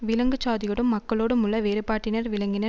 விலங்கு சாதியோடும் மக்களோடும் உள்ள வேறுபாட்டினர் விளங்கின